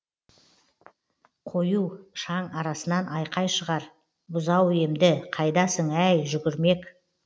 қою шаң арасынан айқай шығар бұзау емді қайдасың әй жүгірмек